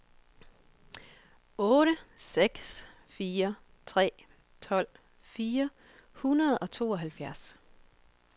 otte seks fire tre tolv fire hundrede og tooghalvfjerds